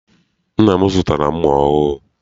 Nna m zụtara mma ọhụụ.